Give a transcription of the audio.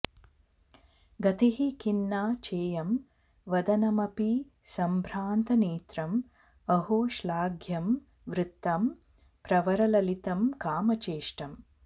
गतिः खिन्ना चेयं वदनमपि संभ्रान्तनेत्रम् अहो श्लाघ्यं वृत्तं प्रवरललितं कामचेष्टम्